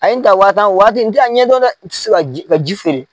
A ye n ta waa tan, o waati n tɛ a ɲɛdɔn dɛ, n tɛ se ka ka ji feere.